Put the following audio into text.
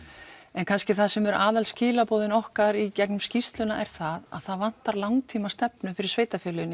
en kannski það sem eru aðal skilaboðin okkar í gegnum skýrsluna er það að það vantar langtímastefnu fyrir sveitarfélögin í